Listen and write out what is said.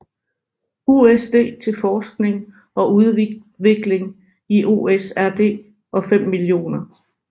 USD til forskning og udvikling i OSRD og 5 mio